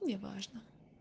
неважно